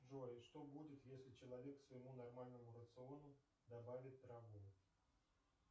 джой что будет если человек к своему нормальному рациону добавит траву